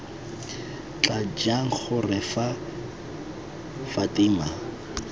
tla jang gore fa fatima